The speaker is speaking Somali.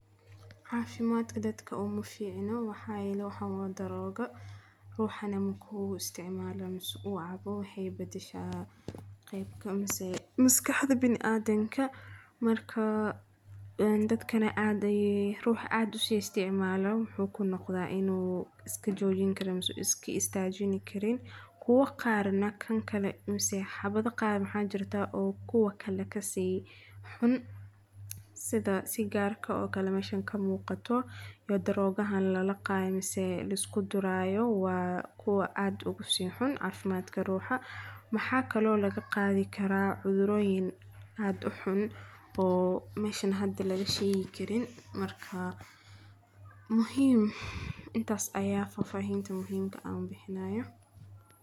Caafimadka dadka umaaficno waxaa yele waxan waa daroogo ruuxana markuu isticmala ama uu Cabo waxey badhasha qeybka mise maskaxda biniadamka . Marka dadkana aas ayee ruux aad usiisticmalayo muxu kunoqda inuu iskajoijini karini mise iskaistaajini Karin. Quwa qaar neh kan kale mise xabadha qaar oo kuwa kale kasii xun sidha sigaarka oo kale meshan kamuuqato iyo daroogaha lalaqaaya mise liskuduraayo waa kuwa aad ugusiixun caafimadka ruuxa. Maxaa kale oo lagaqaadhi Kara cudhurooyin aad uxun oo meshan hada lagasheegi Karin marka muhiim intaas ayaa faafahinta muhiimta aan bixinaayo.